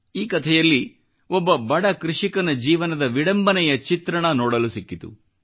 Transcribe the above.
ಈ ಕಥೆಯಲ್ಲಿ ಒಬ್ಬ ಬಡ ಕೃಷಿಕನ ಜೀವನದ ವಿಡಂಬನೆಯ ಚಿತ್ರಣ ನೋಡಲು ಸಿಕ್ಕಿತು